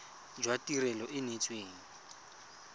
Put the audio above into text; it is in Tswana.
jwa tirelo e e neetsweng